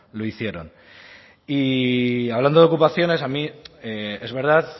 lo hicieron y hablando de ocupaciones a mí es verdad